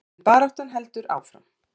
En baráttan heldur áfram.